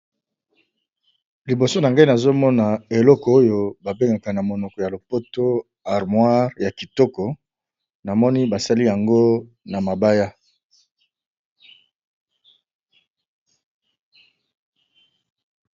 Liboso na ngai nazomona eloko oyo babengaka kombo ya lopoto armoire, ya kitoko na moni basali yango na mabaya.